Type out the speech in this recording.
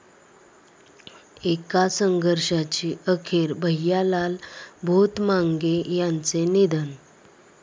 एका संघर्षाची अखेर, भैयालाल भोतमांगे यांचं निधन